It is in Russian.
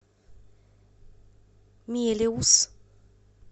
мелеуз